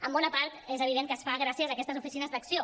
en bona part és evident que es fa gràcies a aquestes oficines d’acció